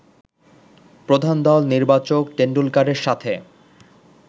প্রধান দল নির্বাচক টেনডুলকারের সাথে